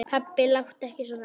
Pabbi láttu ekki svona.